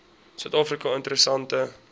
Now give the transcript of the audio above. suid afrika interessante